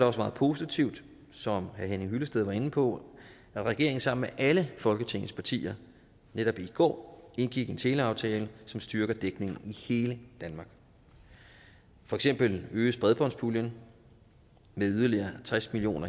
også meget positivt som herre henning hyllested var inde på at regeringen sammen med alle folketingets partier netop i går indgik en teleaftale som styrker dækningen i hele danmark for eksempel øges bredbåndspuljen med yderligere tres million